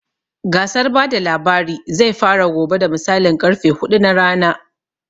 Gasar bada labari zai fara gobe da misalin karfe huɗu na rana